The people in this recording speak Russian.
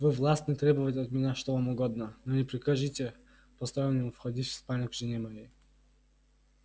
вы властны требовать от меня что вам угодно но не прикажите постороннему входить в спальню к жене моей